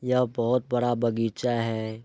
यह बहुत बड़ा बगीचा है।